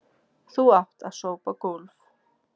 Þú átt að sópa gólf.